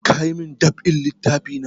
Ka yi mun dab'in littafi na?